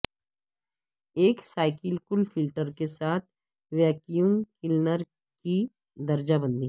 ایک cyclical filter کے ساتھ ویکیوم کلینر کی درجہ بندی